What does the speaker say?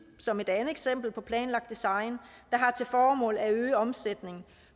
som et andet eksempel på planlagt design der har til formål at øge omsætningen